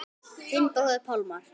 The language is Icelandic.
Þinn bróðir Pálmar.